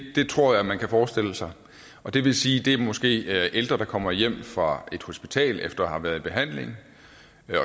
tror jeg man kan forestille sig og det vil sige at det måske er ældre der kommer hjem fra et hospital efter at have været i behandling